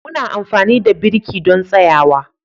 Muna amfani da birki don tsayawa.